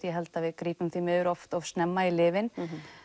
ég held að við grípum því miður oft of snemma í lyfin